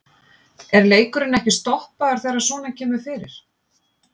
Er leikurinn ekki stoppaður þegar svona kemur fyrir?